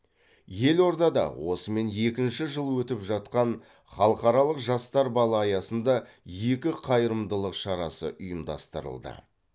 елордада осымен екінші жыл өтіп жатқан халықаралық жастар балы аясында екі қайырымдылық шарасы ұйымдастырылды